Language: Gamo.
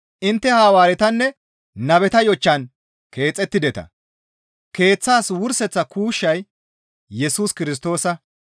Intte Hawaaretanne nabeta yochchan keexettideta; keeththaas wurseththa kuushshay Yesus Kirstoosa.